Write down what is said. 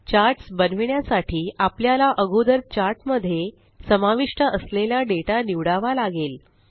charts बनविण्यासाठी आपल्याला अगोदर चार्ट मध्ये समाविष्ट असलेला डेटा निवडावा लागेल